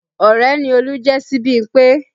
Ọrẹ ni Olú jẹ́ sí Bímpé